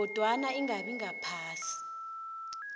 kodwana ingabi ngaphasi